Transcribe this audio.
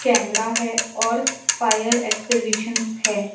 Camera है और fire exhibition है।